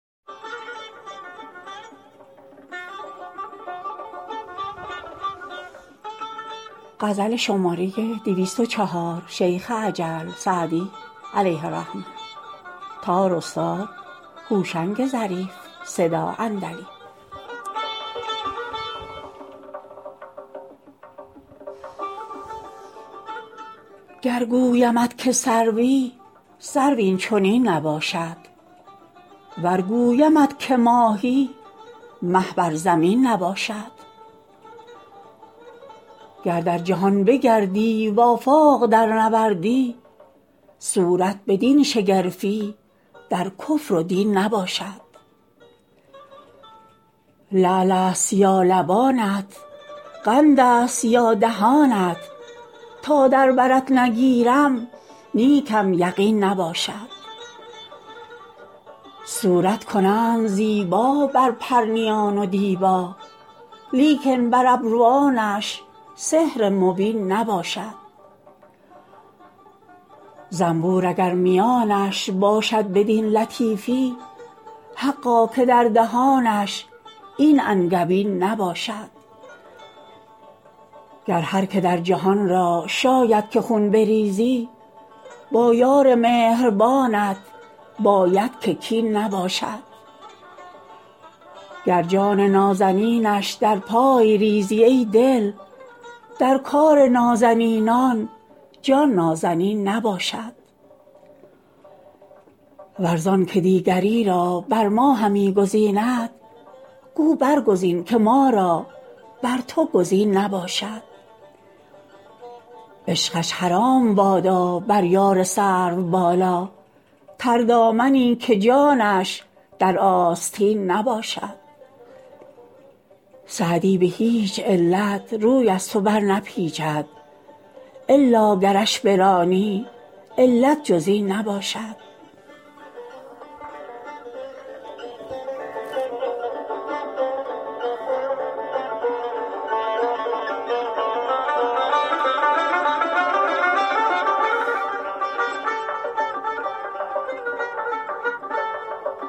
گر گویمت که سروی سرو این چنین نباشد ور گویمت که ماهی مه بر زمین نباشد گر در جهان بگردی و آفاق درنوردی صورت بدین شگرفی در کفر و دین نباشد لعل است یا لبانت قند است یا دهانت تا در برت نگیرم نیکم یقین نباشد صورت کنند زیبا بر پرنیان و دیبا لیکن بر ابروانش سحر مبین نباشد زنبور اگر میانش باشد بدین لطیفی حقا که در دهانش این انگبین نباشد گر هر که در جهان را شاید که خون بریزی با یار مهربانت باید که کین نباشد گر جان نازنینش در پای ریزی ای دل در کار نازنینان جان نازنین نباشد ور زان که دیگری را بر ما همی گزیند گو برگزین که ما را بر تو گزین نباشد عشقش حرام بادا بر یار سروبالا تردامنی که جانش در آستین نباشد سعدی به هیچ علت روی از تو برنپیچد الا گرش برانی علت جز این نباشد